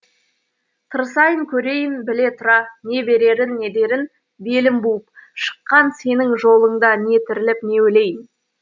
тырысайын көрейін біле тұра не берерін не дерін белім буып шыққан сенің жолыңда не тіріліп не өлейін